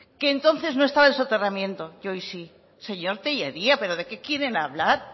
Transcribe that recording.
que entonces no estaba el soterramiento y hoy sí señor tellería pero de qué quieren hablar